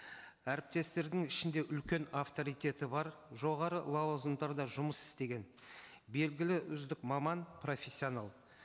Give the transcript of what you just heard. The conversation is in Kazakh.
әріптестердің ішінде үлкен авторитеті бар жоғары лауазымдарда жұмыс істеген белгілі үздік маман профессионал